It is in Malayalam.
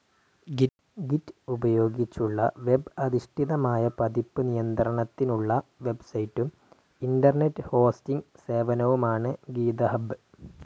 ഗിറ്റ്‌ ഉപയോഗിച്ചുള്ള വെബ് അധിഷ്ഠിതമായ പതിപ്പ് നിയത്രണത്തിനുള്ള വെബ്‌സൈറ്റും ഇന്റർനെറ്റ്‌ ഹോസ്റ്റിംഗ്‌ സേവനവുമാണു ഗീതഹബ്ബ്.